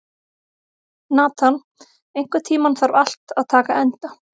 Nathan, einhvern tímann þarf allt að taka enda.